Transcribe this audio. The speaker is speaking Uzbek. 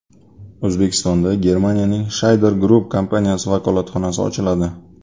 O‘zbekistonda Germaniyaning Scheider Group kompaniyasi vakolatxonasi ochiladi.